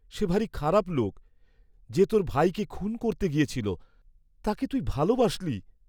সে ভারী খারাপ লোক, যে তোর ভাইকে খুন করতে গিয়েছিল, তাকে ভাই তুই ভালবাসলি?